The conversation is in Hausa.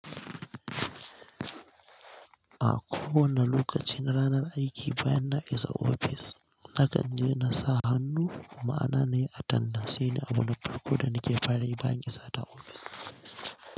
A kowane lokaci na ranar aiki bayan na isa ofis, na kanje na sa hannu, ma'ana nayi attandas. Shi ne abu na farko da nake fara yi bayan isa ta ofis.